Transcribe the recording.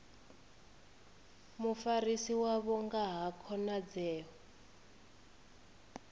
mufarisi wavho nga ha khonadzeo